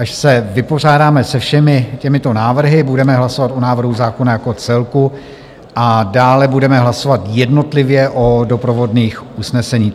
Až se vypořádáme se všemi těmito návrhy, budeme hlasovat o návrhu zákona jako celku a dále budeme hlasovat jednotlivě o doprovodných usnesení.